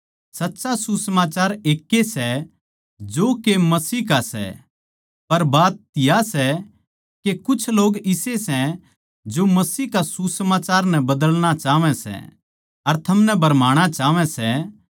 सच्चा सुसमाचार एकै सै जो के मसीह का सै पर बात या सै के कुछ लोग इसे सै जो मसीह के सुसमाचार नै बदलना चाहवै सै अर थमनै भरमाणा चाहवै सै